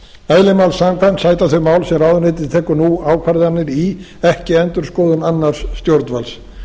eðli máls samkvæmt sæta þau mál sem ráðuneytið tekur nú ákvarðanir í ekki endurskoðun annars stjórnvalds